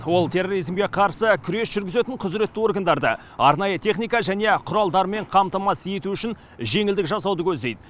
ол терроризмге қарсы күрес жүргізетін құзыретті органдарды арнайы техника және құралдармен қамтамасыз ету үшін жеңілдік жасауды көздейді